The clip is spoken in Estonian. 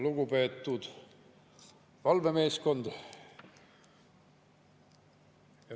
Lugupeetud valvemeeskond!